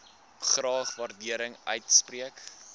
graag waardering uitspreek